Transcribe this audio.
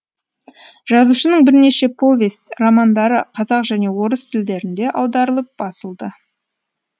жазушының бірнеше повесть романдары қазақ және орыс тілдерінде аударылып басылды